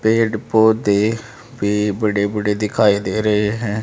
पेड़ पौधे भी बड़े बड़े दिखाई दे रहे है।